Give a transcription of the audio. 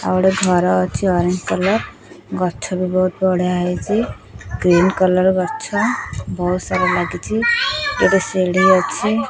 ଆଉଗୋଟେ ଘର ଅଛି ଅରେଞ୍ଜ କଲର ଗଛ ବି ବହୁତ ବଢିଆ ହେଇଛି ଗ୍ରୀନ କଲର ଗଛ ବହୁତ ସାର ଲାଗିଚି ଏଠି ସିଢି ଅଛି।